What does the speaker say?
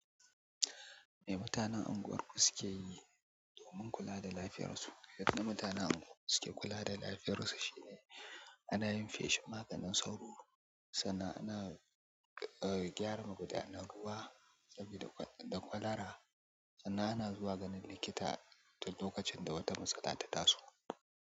Me mutanen unguwarku suke yi domin kula da lafiyar su? Yadda mutanen unguwar suke kula da lafiyar su shine ana yin feshin maganin sauro, sannan ana, eh, gyara magudanian ruwa, sabi da kwalara. Sannan ana zuwa ganin likita lokacin da wata matsala ta taso.